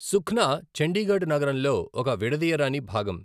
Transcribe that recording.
సుఖ్నా చండీగఢ్ నగరంలో ఒక విడదీయరాని భాగం.